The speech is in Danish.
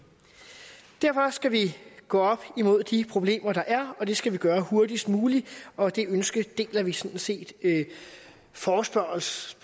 derfor skal vi gå op imod de problemer der er og det skal vi gøre hurtigst muligt og det ønske deler vi sådan set forespørgernes